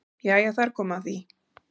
Jæja þar kom að því!